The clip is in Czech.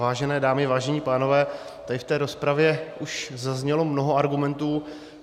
Vážené dámy, vážení pánové, tady v té rozpravě už zaznělo mnoho argumentů.